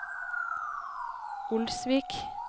Olsvik